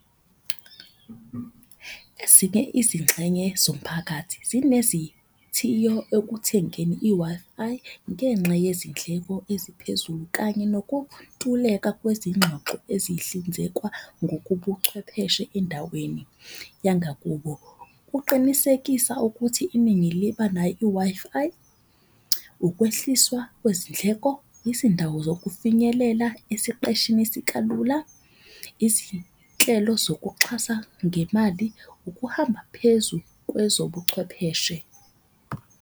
Ezinye izingxenye zomphakathi zinezithiyo ekuthengeni i-Wi-Fi ngenxa yezindleko eziphezulu. Kanye nokuntuleka kwezingxoxo ezihlinzekwa ngokubuchwepheshe endaweni yangakubo. Uqinisekisa ukuthi iningi liba nayo i-Wi-Fi ukwehliswa kwezindleko, izindawo zokufinyelela esiqeshini sikalula. Izinhlelo zokuxhasa ngemali, ukuhamba phezu kwezobuchwepheshe.